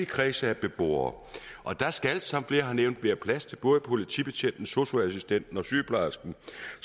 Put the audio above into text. kreds af beboere der skal som flere har nævnt være plads til både politibetjenten sosu assistenten og sygeplejersken